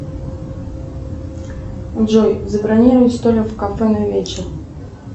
джой забронируй столик в кафе на вечер